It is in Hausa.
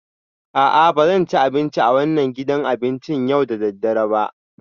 A'a, ba zan ci abinci a wannan gidan abincin yau da dare ba